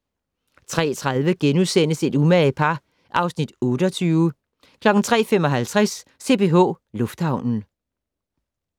03:30: Et umage par (Afs. 28)* 03:55: CPH Lufthavnen